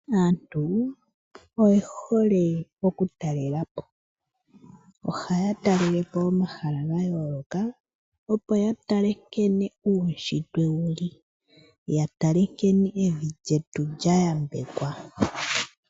Aantu oye hole oku talelapo, ohaya talelepo omahala ga yooloka opo ya tale nkene uunshitwe wuli, ya tale nkene evi lyetu lya yambekwa.